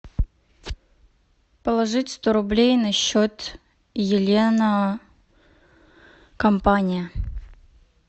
положить сто рублей на счет елена компания